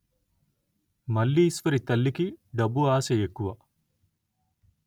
మల్లీశ్వరి తల్లికి డబ్బు ఆశ ఎక్కువ